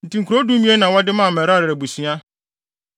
Enti nkurow dumien na wɔde maa Merari abusua.